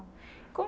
Como